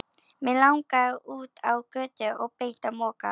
Mig langaði út á götu og beint á Mokka.